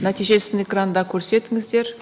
нәтижесін экранда көрсетіңіздер